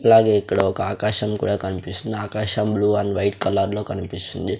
అలాగే ఇక్కడ ఒక ఆకాశం కూడా కన్పిస్తుంది ఆకాశం బ్లూ అండ్ వైట్ కలర్ లో కనిపిస్తుంది.